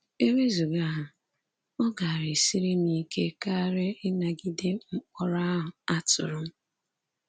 E wezụga ha, ọ gaara esiri m ike karị ịnagide mkpọrọ ahụ a tụrụ m.